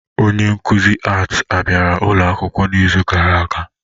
Onye nkuzi Art bịara ụlọ akwụkwọ n'izu gara aga?